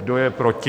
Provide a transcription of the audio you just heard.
Kdo je proti?